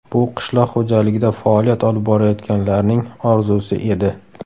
Bu qishloq xo‘jaligida faoliyat olib borayotganlarning orzusi edi.